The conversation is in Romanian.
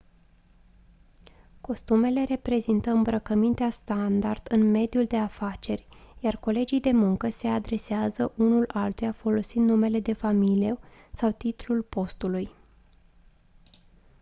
costumele reprezintă îmbrăcămintea standard în mediul de afaceri iar colegii de muncă se adresează unul altuia folosind numele de familie sau titlul postului